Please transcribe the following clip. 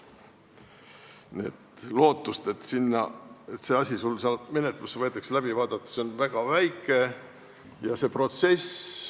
Nii et lootus, et see asi seal menetlusse võetakse ja läbi vaadatakse, on väga väike.